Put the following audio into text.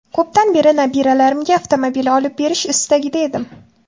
Ko‘pdan beri nabiralarimga avtomobil olib berish istagida edim.